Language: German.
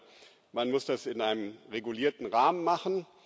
Also, man muss das in einem regulierten Rahmen machen.